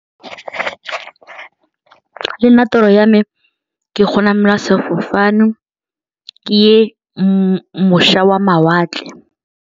Le nna toro ya me ke go namela sefofane ke ye mošwa wa mawatle.